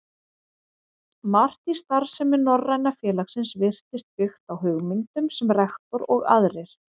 Margt í starfsemi Norræna félagsins virtist byggt á hugmyndum, sem rektor og aðrir